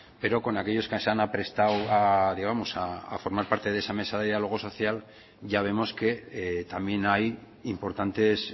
pero con aquellos que se hayan aprestado a digamos a formar parte de esa mesa de diálogo social ya vemos que también hay importantes